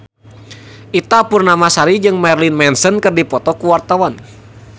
Ita Purnamasari jeung Marilyn Manson keur dipoto ku wartawan